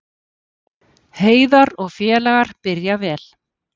Heiðar og félagar byrja vel